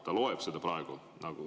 Ta loeb seda praegu.